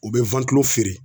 U bɛ feere